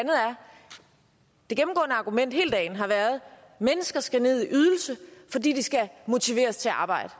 det gennemgående argument hele dagen har været at mennesker skal ned i ydelse fordi de skal motiveres til at arbejde